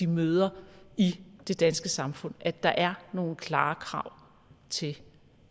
møder i det danske samfund at der er nogle klare krav til